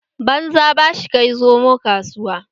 Banza bashi kai zomo kasuwa